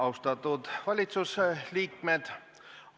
Austatud valitsuse liikmed!